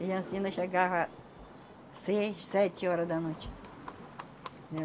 E assim nós chegava seis, sete horas da noite. Né